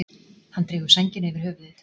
Hann dregur sængina yfir höfuðið.